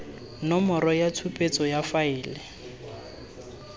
nomoro ya tshupetso ya faele